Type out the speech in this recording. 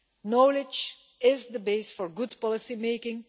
Knowledge is the base for good policymaking.